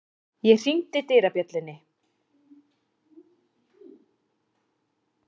Ég hringdi dyrabjöllunni.